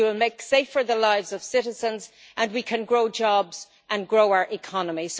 We will make safer the lives of citizens, and we can grow jobs and grow our economy.